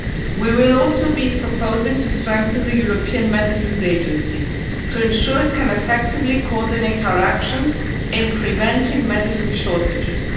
We will also be proposing to strengthen the European Medicines Agency to ensure it can effectively coordinate our actions in preventing medicine shortages.